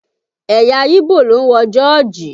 Ẹ̀yà yíbò ló ń wọ jọ́ọ̀jì